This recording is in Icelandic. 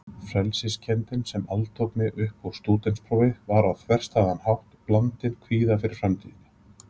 Frelsiskenndin sem altók mig uppúr stúdentsprófi var á þverstæðan hátt blandin kvíða fyrir framtíðinni.